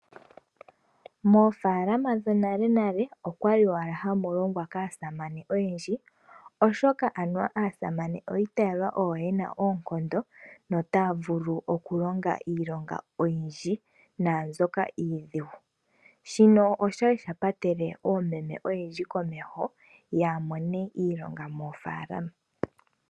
Moofalama dho nalenale okwa li owala hamu longwa kaasamane oyendji, oshoka anuwa aasamane oyi itala oyo yena oonkondo, notaya vulu okulonga iilongola oyindji naambyoka iidhigu. Shino osha li dha patele oomeme oyendji komeho, yaa mone iilonga moofalama.